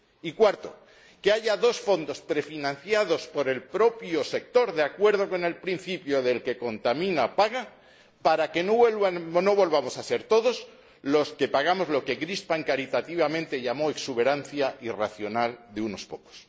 y cuarto, que haya dos fondos prefinanciados por el propio sector, de acuerdo con el principio de quien contamina, paga, para que no volvamos a ser todos los que pagamos lo que Crispin caritativamente llamó exuberancia irracional de unos pocos.